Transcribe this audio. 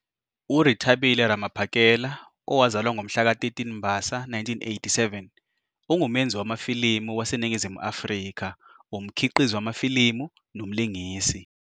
URethabile Ramaphakela, owazalwa ngomhlaka 13 Mbasa 1987, ungumenzi wamafilimu waseNingizimu Afrika, umkhiqizi wamafilimu nomlingisi.